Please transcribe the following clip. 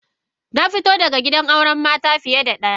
Na fito daga gidan auren mata fiye da daya.